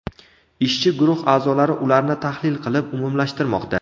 Ishchi guruh a’zolari ularni tahlil qilib, umumlashtirmoqda.